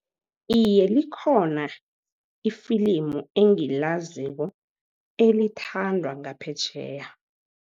Iye, likhona ifilimu engilaziko elithandwa ngaphetjheya.